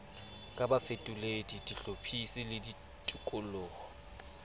ka bafetoledi bahlophisi le ditoloko